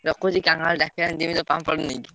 ରଖୁଛି କାହ୍ନା ଡା କିଲାଣି ଯିବି ତ ପାମ୍ପଡ ନେଇକି।